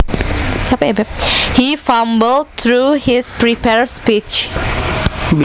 He fumbled through his prepared speech